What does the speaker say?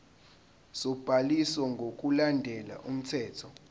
sobhaliso ngokulandela umthetho